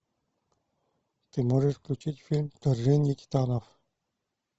ты можешь включить фильм вторжение титанов